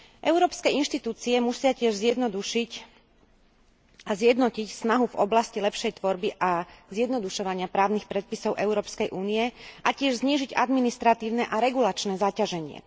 Európske inštitúcie musia tiež zjednodušiť a zjednotiť snahu v oblasti lepšej tvorby a zjednodušovania právnych predpisov Európskej únie a tiež znížiť administratívne a regulačné zaťaženie.